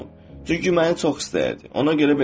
Çünki məni çox istəyirdi, ona görə belə demişdi.